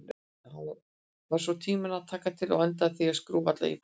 Ég var tvo tíma að taka til og endaði á því að skúra alla íbúðina.